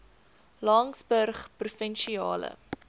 laingsburgprovinsiale